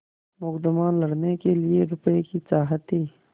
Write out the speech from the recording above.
मुकदमा लड़ने के लिए रुपये की चाह थी